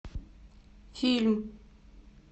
фильм